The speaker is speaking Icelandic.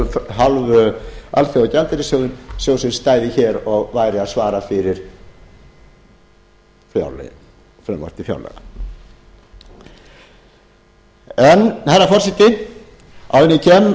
af hálfu alþjóðagjaldeyrissjóðsins stæði hér og væri að svara fyrir frumvarp til fjárlaga herra forseti áður en ég kem